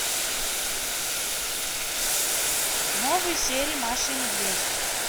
новые серии маша и медведь